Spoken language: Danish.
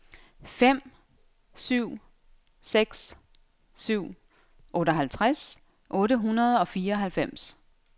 fem syv seks syv otteoghalvtreds otte hundrede og fireoghalvfems